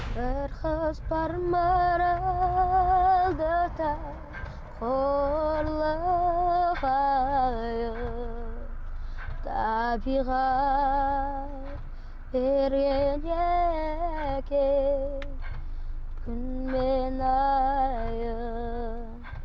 бір қыз бар маралдыда табиғат берген екен күн мен айын